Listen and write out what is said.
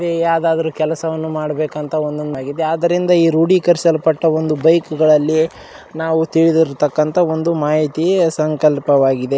ಇಲ್ಲಿ ಯಾವುದಾದರೋ ಕೆಲಸವನ್ನ ಮಾಡಬೇಕಂತ ಒಂದು ಒಂದಾಗಿದೆ ಆದ್ದರಿಂದ ಈ ರೂಡಿಕರಿಸಲ್ ಪಟ್ಟ ಒಂದು ಬೈಕ್ ಗಳಲ್ಲಿ ನಾವು ತಿಳಿದಿರುತಕ್ಕಅಂತ ಮಾಹಿತಿ ಸಂಕಲ್ಪವಾಗಿದೆ.